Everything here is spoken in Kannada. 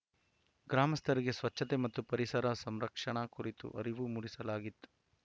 ಗ್ರಾಮಸ್ಥರಿಗೆ ಸ್ವಚ್ಛತೆ ಮತ್ತು ಪರಿಸರ ಸಂರಕ್ಷಣೆ ಕುರಿತು ಅರಿವು ಮೂಡಿಸಲಾಗಿತ್ತು